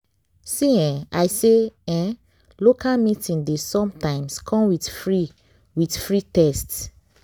see eh i say eeh local meeting dey sometimes come with free with free test.